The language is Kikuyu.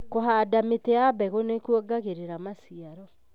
Kũhanda mĩti ya mbegũ nĩ kuongagĩrĩra maciaro.,